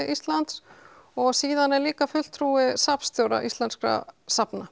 Íslands og síðan er líka fulltrúi safnstjóra íslenskra safna